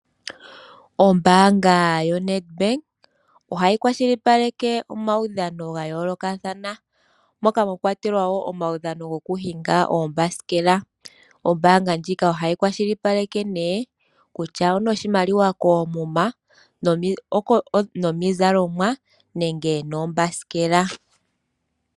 Ombaanga yoNedBank ohayi kwashilipaleke omaudhano ga yoolokathana moka mwa kwatelwa wo omaudhano gokuhinga oombasikela. Ombaanga ndjika ohayi kwashilipaleke nee oshimaliwa koomuma, omizalomwa noombasikela.